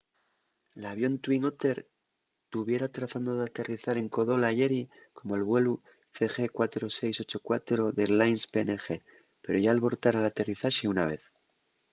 l’avión twin otter tuviera tratando d’aterrizar en kokoda ayeri como’l vuelu cg4684 d’airlines png pero yá albortara l’aterrizaxe una vez